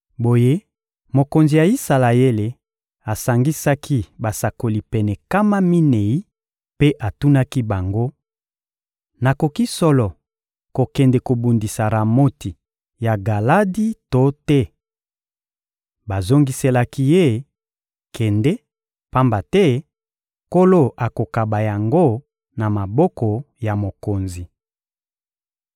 Boye mokonzi ya Isalaele asangisaki basakoli pene nkama minei mpe atunaki bango: — Nakoki solo kokende kobundisa Ramoti ya Galadi to te? Bazongiselaki ye: — Kende, pamba te Nkolo akokaba yango na maboko ya mokonzi.